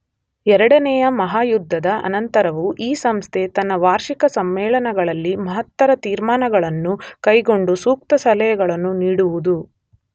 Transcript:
ಎರಡನೆಯ ಮಹಾಯುದ್ಧದ ಅನಂತರವೂ ಈ ಸಂಸ್ಥೆ ತನ್ನ ವಾರ್ಷಿಕ ಸಮ್ಮೇಳನಗಳಲ್ಲಿ ಮಹತ್ತರ ತೀರ್ಮಾನಗಳನ್ನು ಕೈಗೊಂಡು ಸೂಕ್ತ ಸಲಹೆಗಳನ್ನು ನೀಡುವುದು